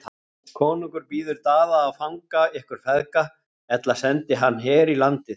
Konungur býður Daða að fanga ykkur feðga, ella sendi hann her í landið.